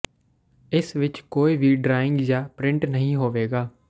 ਇਸ ਵਿਚ ਕੋਈ ਵੀ ਡਰਾਇੰਗ ਜਾਂ ਪ੍ਰਿੰਟ ਨਹੀਂ ਹੋਵੇਗਾ